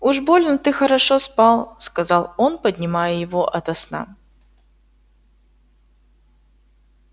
уж больно ты хорошо спал сказал он поднимая его ото сна